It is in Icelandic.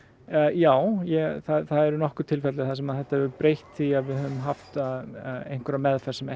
já það eru nokkur tilfelli þar sem þetta hefur breytt því að við höfum haft meðferð sem